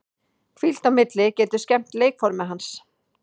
Hvíld á milli getur skemmt leikformið hans.